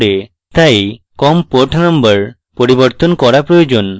তাই com port number পরিবর্তন করা প্রয়োজন